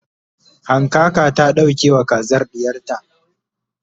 hankaka ta ɗauke wa kazar ɗiyarta